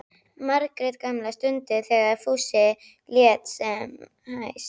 Margrét gamla stundum þegar Fúsi lét sem hæst.